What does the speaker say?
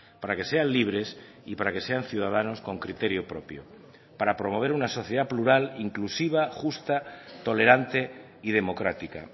para que sean libres y para que sean ciudadanos con criterio propio para promover una sociedad plural inclusiva justa tolerante y democrática